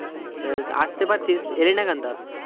আসতে পারতিস এলিনা কেনতা?